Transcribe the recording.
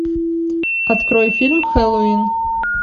открой фильм хэллоуин